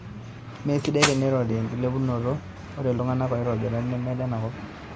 Mesidai teneirori enkilepunoto ore iltungana oitobira neme lenakop